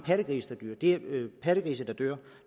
pattegrise der dør